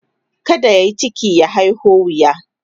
kada yayi ciki ya haiho wuya